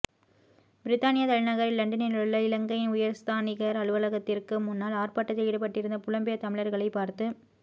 பிரித்தானியத் தலைநகர் இலண்டனிலுள்ள இலங்கையின் உயர்ஸ்தானிகர் அலுவலகத்திற்கு முன்னால் ஆர்ப்பாட்டத்தில் ஈடுபட்டிருந்த புலம்பெயர் தமிழர்களைப் பார்த்து